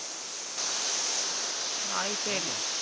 வாய்ப்பே இல்லை.